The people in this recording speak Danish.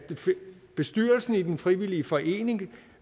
bestyrelsen i den frivillige forening